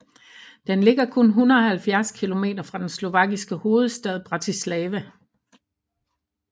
Den ligger kun 170 kilometer fra den slovakiske hovedstad Bratislava